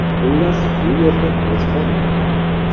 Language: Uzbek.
Xullas, bu yerda och qolmayman.